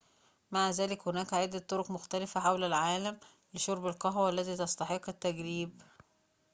مع ذلك هناك عدة طرق مختلفة حول العالم لشرب القهوة والتي تستحق التجريب